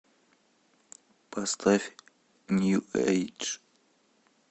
поставь нью эйдж